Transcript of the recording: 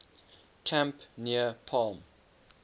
camp near palm